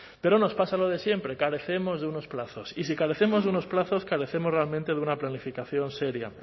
pero nos pasa lo de siempre carecemos de unos plazos y si carecemos de unos plazos carecemos realmente de una planificación seria